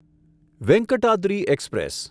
Venkatadri express